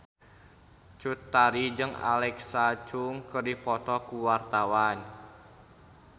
Cut Tari jeung Alexa Chung keur dipoto ku wartawan